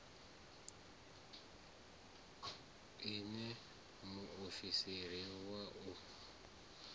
i ṋee muofisiri wa u